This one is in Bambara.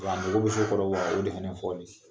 Wa mago bɛ fɛn o ye laɲini fɔlɔ ye.